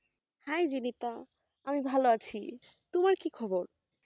হ্যাঁ এই যে দীপা, আমি ভালো আছি তোমার কি খবর?